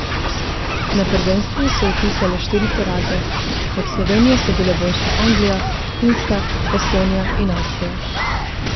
Na prvenstvu so vpisale štiri poraze, od Slovenije so bile boljše Anglija, Finska, Estonija in Avstrija.